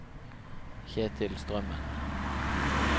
Kjetil Strømmen